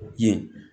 Ye